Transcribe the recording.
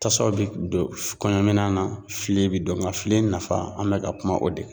Tasuma bɛ don kɔɲɔmina na fili bɛ don nka fili nafa an bɛ ka kuma o de kan.